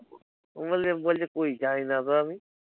কুণাল কে বলছে কি যাই না তো আমি